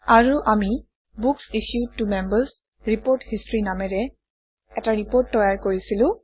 আৰু আমি books issued to Members report history নামেৰে এটা ৰিপৰ্ট তৈয়াৰ কৰিছিলো